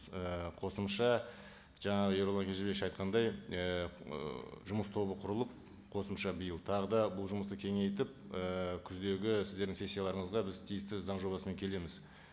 ыыы қосымша жаңа ерұлан кенжебекович айтқандай ііі жұмыс тобы құрылып қосымша биыл тағы да бұл жұмысты кеңейтіп ііі күздегі сіздердің сессияларыңызға біз тиісті заң жобасымен келеміз